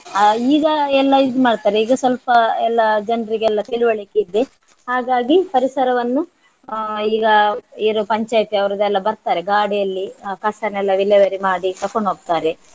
ಆ ಈಗ ಎಲ್ಲ ಇದು ಮಾಡ್ತಾರೆ ಈಗ ಸ್ವಲ್ಪ ಎಲ್ಲ ಜನ್ರಿಗೆಲ್ಲ ತಿಳುವಳಿಕೆ ಇದೆ ಹಾಗಾಗಿ ಪರಿಸರವನ್ನು ಆ ಈಗ ಇದು ಪಂಚಾಯತಿ ಅವರದೆಲ್ಲ ಬರ್ತಾರೆ ಗಾಡಿಯಲ್ಲಿ ಆ ಕಸನ್ನೆಲ್ಲ ವಿಲೇವಾರಿ ಮಾಡಿ ತಕೊಂಡ್ ಹೋಗ್ತಾರೆ.